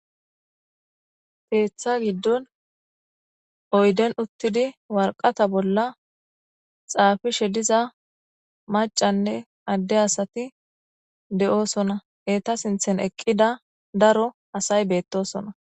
Keththa giidon oydden uutiddi waraqqata bolla xaffishe diiza maccanne ade asay de'ossona etta sinthan eqqida asay bettosona.